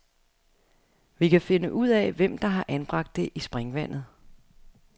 Vi kan finde ud af, hvem der har anbragt det i springvandet.